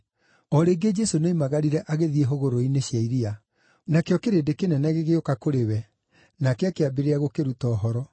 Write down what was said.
O rĩngĩ Jesũ nĩoimagarire agĩthiĩ hũgũrũrũ-inĩ cia iria; nakĩo kĩrĩndĩ kĩnene gĩgĩũka kũrĩ we, nake akĩambĩrĩria gũkĩruta ũhoro.